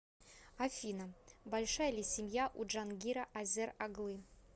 афина большая ли семья у джангира азер оглы